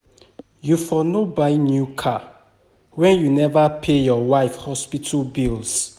You for no buy new car wen you neva pay your wife hospital bills.